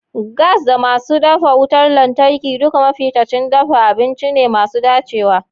Gas da masu dafa wutar lantarki duka mafitacin dafa abinci ne masu dacewa.